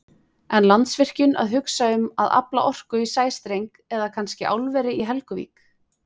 En Landsvirkjun að hugsa um að afla orku í sæstreng eða kannski álveri í Helguvík?